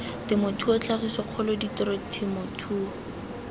temothuo tlhagiso kgolo tiro temothuo